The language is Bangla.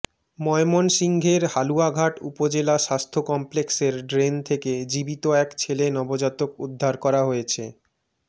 ময়মনসিংহের হালুয়াঘাট উপজেলা স্বাস্থ্য কমপ্লেক্সের ড্রেন থেকে জীবিত এক ছেলে নবজাতক উদ্ধার করা হয়েছে